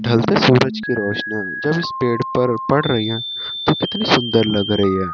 ढलते सूरज की रोशनीया जब इस पेड़ पर पड़ रही है तो कितनी सुंदर लग रही है।